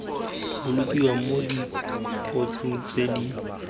bolokiwa mo dibokosong tse di